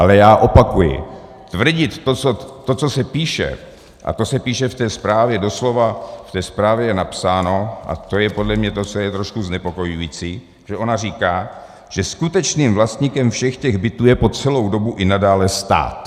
Ale já opakuji - tvrdit to, co se píše, a to se píše v té zprávě doslova, v té zprávě je napsáno, a to je podle mě to, co je trošku znepokojující, že ona říká, že skutečným vlastníkem všech těch bytů je po celou dobu i nadále stát.